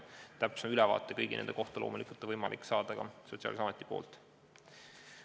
Täpsem ülevaade nende kõigi kohta on võimalik saada Sotsiaalkindlustusametilt.